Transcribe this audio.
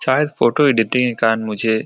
शायद photo editing के कारण मुझे --